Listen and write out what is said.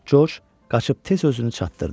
Corc qaçıb tez özünü çatdırdı.